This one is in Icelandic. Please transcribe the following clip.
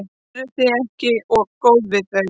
Eruð þið ekki of góð við þau?